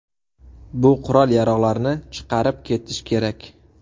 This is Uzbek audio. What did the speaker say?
Bu qurol-yarog‘larni chiqarib ketish kerak.